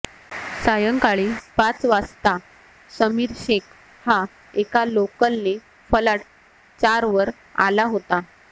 सायंकाळी पाच वाजता समीर शेख हा एका लोकलने फलाट चारवर आला होता